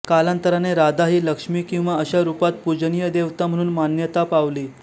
कालांतराने राधा ही लक्ष्मी किंवा अशा रूपात पूजनीय देवता म्हणून मान्यता पावली